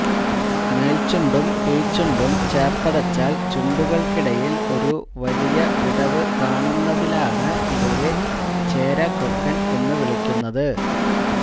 മേല്ചുണ്ടും കീഴ്ചുണ്ടും ചേര്ത്തടച്ചാല് ചുണ്ടുകള്ക്കിടയില് ഒരു വലിയ വിടവ് കാണുന്നതിലാണ് ഇവയെ ചേരാകൊക്കന് എന്ന് വിളിക്കുന്നത്